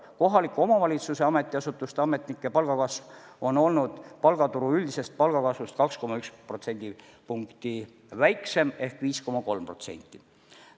Kohaliku omavalitsuse ametiasutuste ametnike palga kasv on olnud palgaturu üldisest palgakasvust 2,1% võrra väiksem ehk 5,3%.